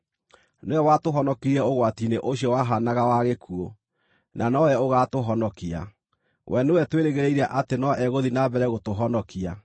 Nĩwe watũhonokirie ũgwati-inĩ ũcio wahaanaga wa gĩkuũ, na nowe ũgaatũhonokia. We nĩwe twĩrĩgĩrĩire atĩ no egũthiĩ na mbere gũtũhonokia,